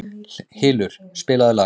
Hylur, spilaðu lag.